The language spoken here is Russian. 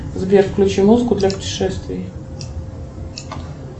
сбер включи музыку для путешествий